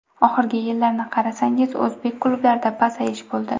Oxirgi yillarni qarasangiz o‘zbek klublarida pasayish bo‘ldi.